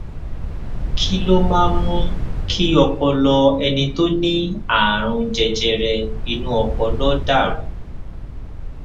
kí ló máa ń mú kí ọpọlọ ẹni tó ní àrùn jẹjẹrẹ inú ọpọlọ dà rú